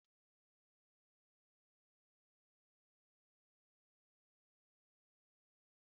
Akụkọ oge ụra nke nna m ochie jupụtara na omume zoro ezo na nkuzi ndụ.